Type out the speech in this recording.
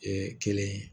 kelen ye